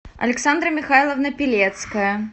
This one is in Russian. александра михайловна пилецкая